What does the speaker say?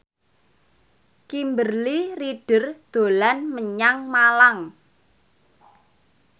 Kimberly Ryder dolan menyang Malang